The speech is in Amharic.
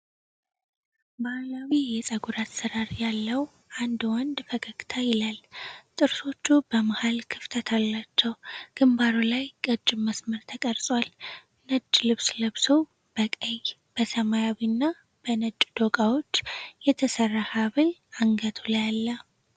ባህላዊ የፀጉር አሠራር ያለው አንድ ወንድ ፈገግታ ይላል። ጥርሶቹ በመሀል ክፍተት አላቸው፤ ግንባሩ ላይ ቀጭን መስመር ተቀርጿል። ነጭ ልብስ ለብሶ በቀይ፣ በሰማያዊና በነጭ ዶቃዎች የተሰራ ሐብል አንገቱ ላይ አለ።